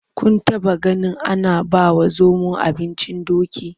Kun taɓaganin ana bawa zomo abincin doki?